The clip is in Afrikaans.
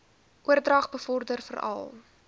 oordrag bevorder veral